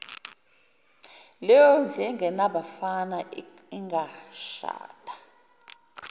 leyondlu engenabafana ingashada